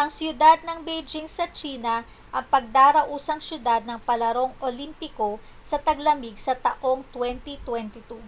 ang siyudad ng beijing sa tsina ang pagdarausang siyudad ng palarong olimpiko sa taglamig sa taong 2022